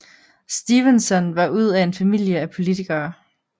Stevenson var ud af en familie af politikere